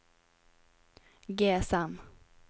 GSM